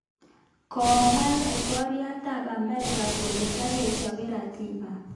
Komwa laitoryat ab Amerika kole tagechobe ratiba